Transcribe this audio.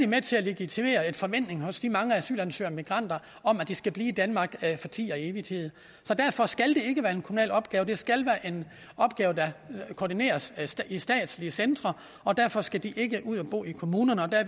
med til at legitimere en forventning hos de mange asylansøgere og migranter om at de skal blive i danmark for tid og evighed så derfor skal det ikke være en kommunal opgave det skal være en opgave der koordineres i statslige centre og derfor skal de ikke ud at bo i kommunerne og